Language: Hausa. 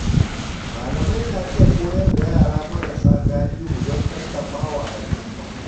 Malamai na iya koyar da yara marasa galihu don tallafa wa al’umma.